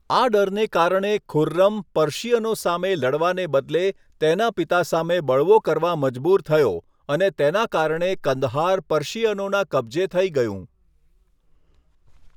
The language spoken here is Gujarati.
આ ડરને કારણે ખુર્રમ પર્શિયનો સામે લડવાને બદલે તેના પિતા સામે બળવો કરવા મજબૂર થયો અને તેના કારણે કંદહાર પર્શિયનોના કબ્જે થઈ ગયું.